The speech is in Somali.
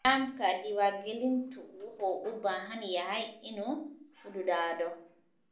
Nidaamka diiwaangelintu wuxuu u baahan yahay inuu fududaado.